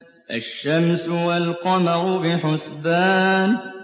الشَّمْسُ وَالْقَمَرُ بِحُسْبَانٍ